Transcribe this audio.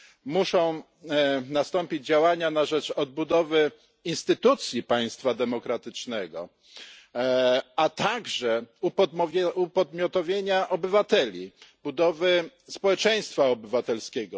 Muszą nastąpić działania na rzecz odbudowy instytucji państwa demokratycznego, a także upodmiotowienia obywateli, budowy społeczeństwa obywatelskiego.